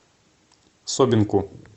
собинку